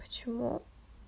почему